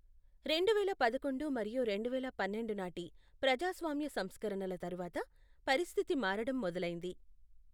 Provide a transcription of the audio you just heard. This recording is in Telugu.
రెండువేల పదకొండు మరియు రెండువేల పన్నెండు నాటి ప్రజాస్వామ్య సంస్కరణల తరువాత పరిస్థితి మారడం మొదలైంది.